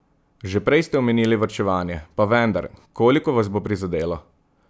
Že prej ste omenili varčevanje, pa vendar, koliko vas bo prizadelo?